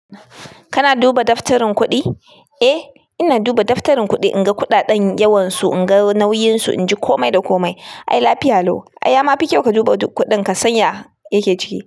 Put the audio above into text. Kana duba daftarin kuɗi? Eh ina duba daftarin kuɗi in ga kuɗaɗen yawansu, in ga nauyinsu, in ji kome da kome. Ai lafiya lau. Ai ya ma fi kyau ka duba duk kuɗin ka sanya ya! Yake ciki.